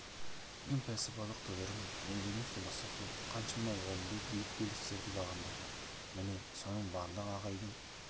педагогикалық және директор жанындағы кеңестерге түрлі мәжілістерге жас маман біздер түгілі тәжірибелі апай ағайлардың өздері баяндама хабарлама анықтамаларын